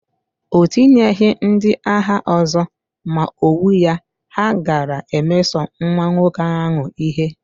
O tinyeghị ndị agha ọzọ, ma owuya, ha gaara emeso nwa nwoke ahụ ihe.